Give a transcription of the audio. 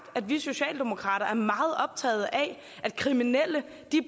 at vi socialdemokrater er meget optaget af at kriminelle